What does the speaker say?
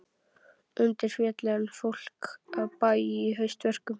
Undirfelli en fólk af bæ í haustverkum.